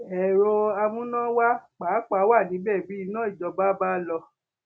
èrò amúnáwá pàápàá wà níbẹ bí iná ìjọba bá lọ